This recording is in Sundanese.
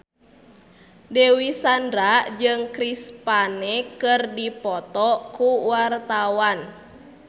Dewi Sandra jeung Chris Pane keur dipoto ku wartawan